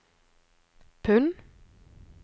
pund